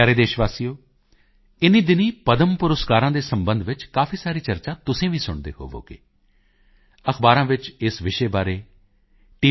ਮੇਰੇ ਪਿਆਰੇ ਦੇਸ਼ ਵਾਸੀਓ ਇਨ੍ਹੀਂ ਦਿਨੀਂ ਪਦਮ ਪੁਰਸਕਾਰਾਂ ਦੇ ਸਬੰਧ ਵਿੱਚ ਕਾਫੀ ਸਾਰੀ ਚਰਚਾ ਤੁਸੀਂ ਵੀ ਸੁਣਦੇ ਹੋਵੋਗੇ ਅਖ਼ਬਾਰਾਂ ਵਿੱਚ ਵੀ ਇਸ ਵਿਸ਼ੇ ਬਾਰੇ ਟੀ